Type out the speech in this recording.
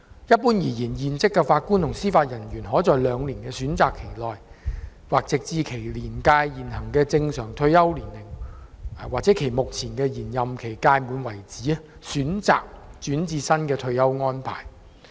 一般而言，現職法官及司法人員可在兩年的選擇期內，或直至其年屆現行的正常退休年齡/其目前的延任期屆滿為止，選擇轉至新的退休安排。